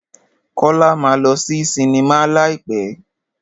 Kọ́lá máa lọ sí sinimá láì pẹ́.